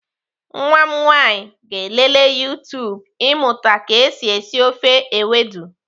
Nwa m nwaanyị ga-elelee YouTube ịmụta ka esi esi ofe ewedu.